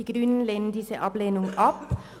Die grüne Fraktion lehnt diese Ablehnung ab.